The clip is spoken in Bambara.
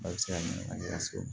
A bɛ se ka minɛ lasegin